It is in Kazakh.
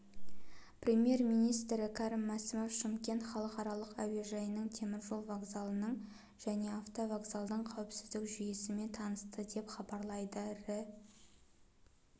премьер-министрі кәрім мәсімов шымкент халықаралық әуежайының теміржол вокзалының және автовокзалдың қауіпсіздік жүйесімен танысты деп хабарлайды рі